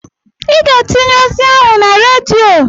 I ga-etinye ozi ahụ na redio.